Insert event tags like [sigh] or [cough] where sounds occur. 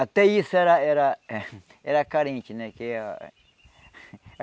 Até isso era era [laughs] era carente né que ah. [laughs]